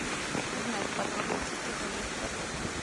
узнать подробности про заезд в отель